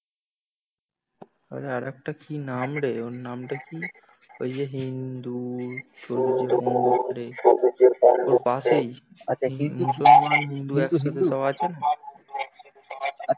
আর একটা কি নাম রে ওর নাম টা কি ওই যে হিন্দু ওর পাশেই মুসলমান হিন্দু একসাথে সব আছে না?